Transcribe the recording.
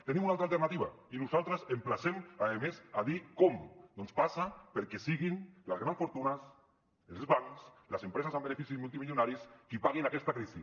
tenim una altra alternativa i nosaltres emplacem a més a dir com passa perquè siguin les grans fortunes els bancs les empreses amb beneficis multimilionaris qui paguin aquesta crisi